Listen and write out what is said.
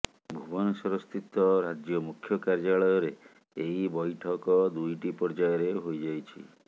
ଭୁବନେଶ୍ୱର ସ୍ଥିତ ରାଜ୍ୟ ମୁଖ୍ୟ କାର୍ଯ୍ୟାଳୟରେ ଏହି ବୈଠକ ଦୁଇଟି ପର୍ଯ୍ୟାୟରେ ହୋଇଯାଇଛି